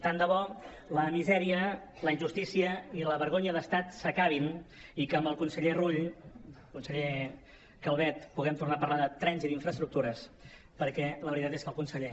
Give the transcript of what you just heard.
tant de bo la misèria la injustícia i la vergonya de l’estat s’acabin i que amb el conseller rull conseller calvet puguem tornar a parlar de trens i d’infraestructures perquè la veritat és que el conseller